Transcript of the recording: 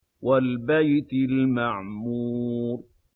وَالْبَيْتِ الْمَعْمُورِ